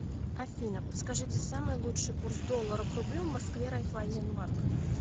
афина подскажите самый лучший курс доллара к рублю в москве райфайзен банк